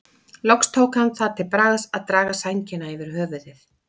Loks tók hann það til bragðs að draga sængina yfir höfuðið.